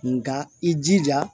Nka i jija